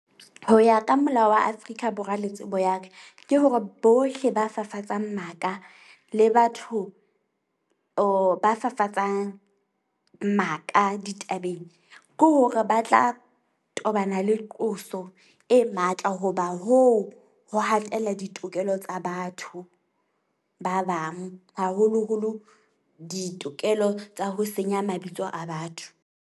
Ho ya ka molao wa Afrika Borwa le tsebo ya ka ke hore bohle ba fafatsang maka le batho or ba fafatsang maka ditabeng. Ke hore ba tla tobana le qoso e matla hoba hoo ho hatela ditokelo tsa batho ba bang, haholo-holo ditokelo tsa ho senya mabitso a batho.